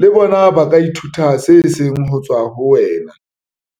le bona ba ka ithuta se seng ho tswa ho wena.